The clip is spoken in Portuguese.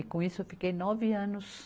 E com isso eu fiquei nove anos